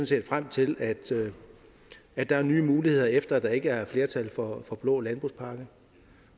set frem til at der er nye muligheder efter at der ikke er flertal for blå landbrugspakke